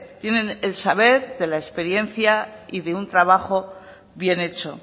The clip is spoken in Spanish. tienen el saber de la experiencia y de un trabajo bien hecho